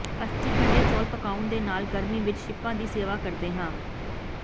ਅਸੀਂ ਠੰਢੇ ਚੌਲ ਪਕਾਉਣ ਦੇ ਨਾਲ ਗਰਮੀ ਵਿੱਚ ਸ਼ਿੰਪਾਂ ਦੀ ਸੇਵਾ ਕਰਦੇ ਹਾਂ